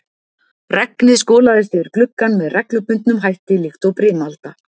Regnið skolaðist yfir gluggann með reglubundnum hætti líkt og brimalda.